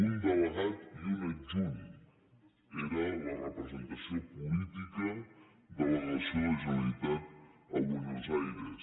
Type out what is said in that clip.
un delegat i un adjunt era la representació política de la delegació de la generalitat a buenos aires